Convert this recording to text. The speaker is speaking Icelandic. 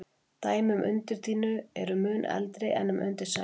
Dæmi um undirdýnu eru mun eldri en um undirsæng.